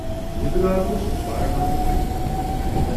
نِکہٕ لال اوس وارٕ وارٕ بایِک چلاوان۔